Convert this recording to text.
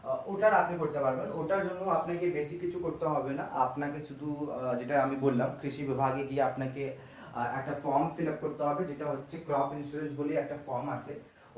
ওটা আপনি করতে পারবেন ওটার জন্য আপনাকে বেশী কিছু করতে হবেনা আপনাকে শুধু আহ যেটা আমি বললাম যে কৃষি বিভাগে গিয়ে আপনাকে একটা form fillup করতে হবে যেটা হচ্ছে crop insurance বলেই একটা form আছে